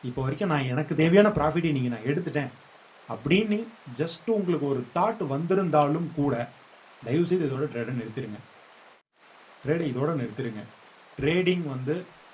இப்ப வரைக்கும் நான் எனக்கு தேவையான profit அ இன்னைக்கு நான் எடுத்துட்டேன் அப்படின்னு just உங்களுக்கு ஒரு thought வந்திருந்தாலும் கூட தயவு செய்து இதோட trade அ நிறுத்திருங்க trade அ இதோட நிறுத்திருங்க trading வந்து